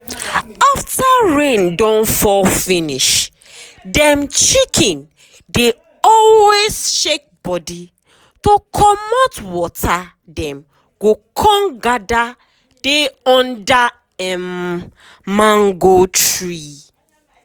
after rain don fall um finishdem chicken dey always um shake body to comot waterdem go con gather dey under um mango tree.